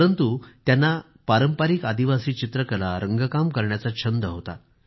परंतु त्यांना पारंपरिक आदिवासी चित्रकला रंगकाम करण्याचा छंद होता